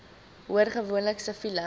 hoor gewoonlik siviele